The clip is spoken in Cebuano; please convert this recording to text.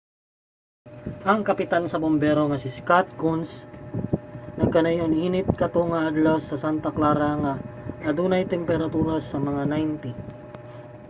ang kapitan sa bumbero nga si scott kouns nagkanayon init kato nga adlaw sa santa clara nga adunay temperatura sa mga 90